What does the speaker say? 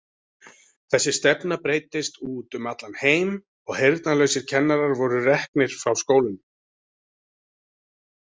Þessi stefna breiddist út um allan heim og heyrnarlausir kennarar voru reknir frá skólunum.